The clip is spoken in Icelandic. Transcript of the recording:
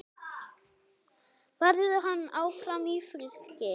Verður hann áfram í Fylki?